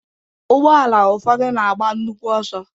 Ụgbọala ụfọdụ na-agba nnukwu ọsọ.